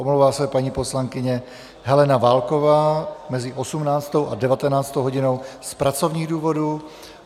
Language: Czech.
Omlouvá se paní poslankyně Helena Válková mezi 18. a 19. hodinou z pracovních důvodů.